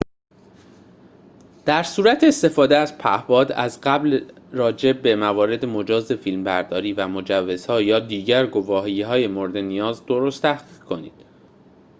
در صورت استفاده از پهباد از قبل راجع به موارد مجاز فیلم‌برداری و مجوزها یا دیگر گواهی‌های مورد نیاز درست تحقیق کنید